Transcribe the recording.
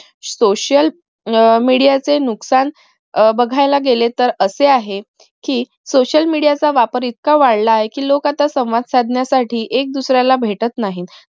social media चे नुकसान अह बघाला गेलेतर असे आहे कि social media चा वापर इतका वाढला आहे कि लोक आता संवाद साधण्यासाठी एक दुसऱ्याला भेटत नाहीत